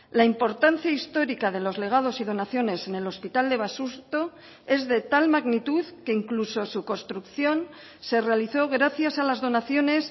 la importancia histórica de los legados y donaciones en el hospital de basurto es de tal magnitud que incluso su construcción se realizó gracias a las donaciones